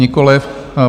Nikoliv.